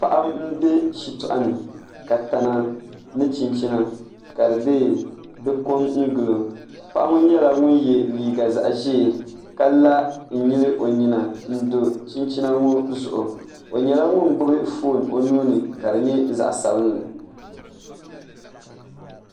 Paɣa n bɛ shitoɣu ni ka tana ni chinchina ka di ko n gilo paɣa ŋo nyɛla ŋun yɛ liiga zaɣ ʒiɛ ka la n nyili o nyina n do chinchina ŋo zuɣu o nyɛla ŋun gbubi foon o nuuni ka di nyɛ zaɣ sabinli